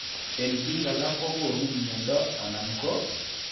En biik alak kogonu mnyondo anan ko